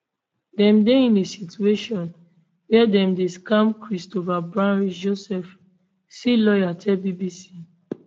dem dey in a situation wia dem dey scammed christophe bruschi joseph c lawyer tell bbc